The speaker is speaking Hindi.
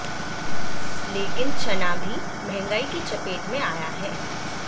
लेकिन चना भी महंगाई की चपेट में आया है